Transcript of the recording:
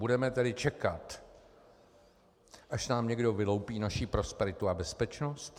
Budeme tedy čekat až nám někdo vyloupí naši prosperitu a bezpečnost?